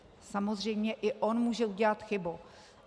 Samozřejmě i on může udělat chybu.